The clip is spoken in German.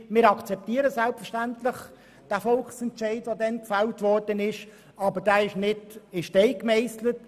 Wir akzeptieren selbstverständlich den damals gefällten Volksentscheid, aber dieser ist nicht in Stein gemeisselt.